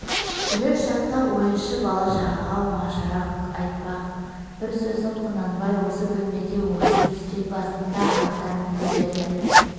жүрер шақта үй-іші бала-шағаға оңашарақ айтпақ бір сөзін құнанбай осы бөлмеде осы үстел басында айтармын деп еді